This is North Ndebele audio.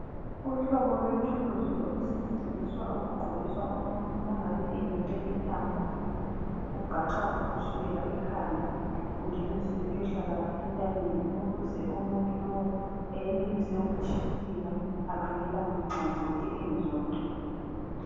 Uhlobo lwethuluzi olusetshenziswa ukugqokiswa umuntu ongabe eyenyele intamo, ugaxwa kusukela ekhanda ungenise kuyohlala entanyeni ukuze umuntu lowu eyenelise ukutshibilika ekhangela nxazonke engezwa buhlungu.